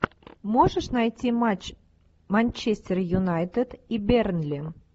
можешь найти матч манчестер юнайтед и бернли